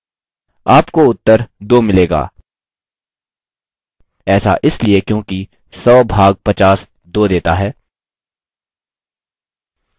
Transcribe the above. आपको उत्तर 2 मिलेगा ऐसा इसलिए क्योंकि 100 भाग 50 2 देता है